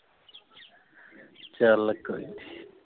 ਚਲ ਕੋਈ ਨਹੀਂ